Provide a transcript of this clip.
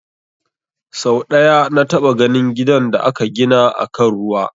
Sau ɗaya na taɓa ganin gidan da aka gina akan ruwa